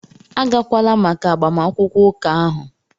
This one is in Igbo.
Agakwala maka agbamakwụkwọ ụka ahụ!